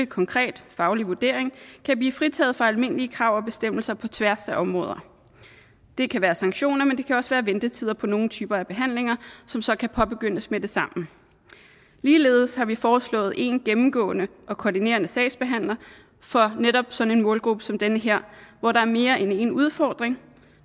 konkret faglig vurdering kan blive fritaget for almindelige krav og bestemmelser på tværs af områder det kan være sanktioner men det kan også være ventetider på nogle typer af behandlinger som så kan påbegyndes med det samme ligeledes har vi foreslået en gennemgående og koordinerende sagsbehandler for netop sådan en målgruppe som den her hvor der er mere end én udfordring